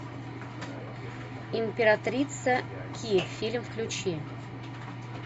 императрица ки фильм включи